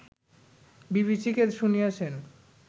বিবিসিকে শুনিয়েছেন